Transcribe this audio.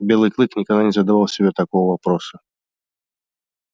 белый клык никогда не задавал себе такого вопроса